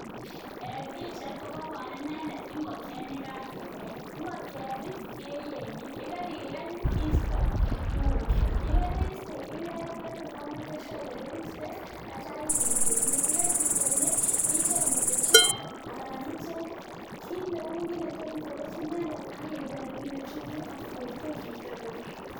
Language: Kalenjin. En pichait ko kaibor inendet ngokiet ne kagebel. Ingokiet ii, keyenye, ye kariyeny iste tugukwak ye keriiste ibelbel tor komeken sure ile keriste ak itya itil kwenet. Ye karitil kwenet icheng ng'etetyot anan icheng kit neu kit ne tot iterekyi inende ak ibel ak inde chumbik akiwekwekyi tor korur.